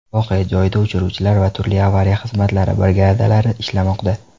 Voqea joyida o‘chiruvchilar va turli avariya xizmatlari brigadalari ishlamoqda.